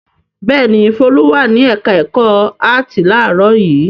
Bẹ́ẹ̀ ni, Folú wà ní ẹ̀ka-ẹ̀kọ́ áátì láàárọ̀ yìí.